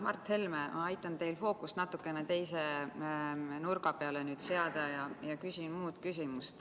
Mart Helme, aitan teil fookust natukene teise nurga peale seada ja küsin muu küsimuse.